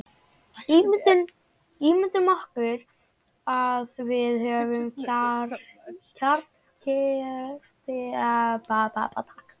Ímyndum okkur að við höfum kjarnkleyft efni í kjarnaofni.